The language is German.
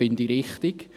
Das finde ich richtig.